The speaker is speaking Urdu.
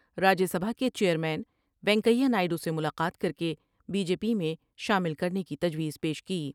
راجیہ سبھا کے chairman Venkaiah Naidu سے ملاقات کر کے بی جے میں شامل کر نے کی تجویز پیش کی ۔